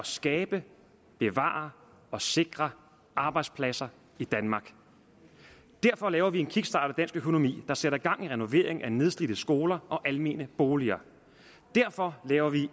skabe bevare og sikre arbejdspladser i danmark derfor laver vi en kickstart af dansk økonomi der sætter gang i renoveringen af nedslidte skoler og almene boliger derfor laver vi